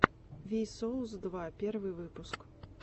ви соус два первый выпуск